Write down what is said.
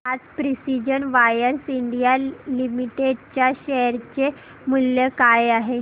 आज precision wires India limited च्या share चे मूल्य काय आहे